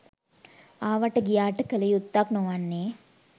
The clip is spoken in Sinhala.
ආවාට ගියාට කළ යුත්තක් නොවන්නේ